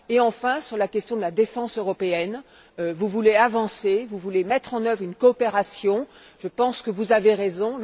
Et enfin, sur la question de la défense européenne, vous voulez avancer, vous voulez mettre en œuvre une coopération. Je pense que vous avez raison.